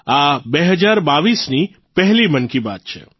આ ૨૦૨૨ની પહેલી મન કી બાત છે